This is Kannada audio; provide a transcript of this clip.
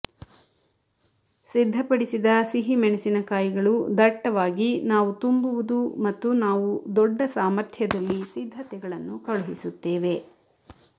ಸಿದ್ಧಪಡಿಸಿದ ಸಿಹಿ ಮೆಣಸಿನಕಾಯಿಗಳು ದಟ್ಟವಾಗಿ ನಾವು ತುಂಬುವುದು ಮತ್ತು ನಾವು ದೊಡ್ಡ ಸಾಮರ್ಥ್ಯದಲ್ಲಿ ಸಿದ್ಧತೆಗಳನ್ನು ಕಳುಹಿಸುತ್ತೇವೆ